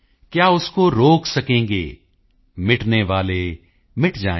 ਕਯਾ ਉਸਕੋ ਰੋਕ ਸਕੇਂਗੇ ਮਿਟਨੇਵਾਲੇ ਮਿਟ ਜਾਏਂ